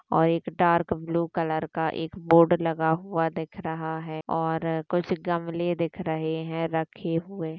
और एक डार्क बालू कलर का एक बोर्ड लगा हुआ दिख रहा है और कुछ गमले दिख रहे है रखे हुए।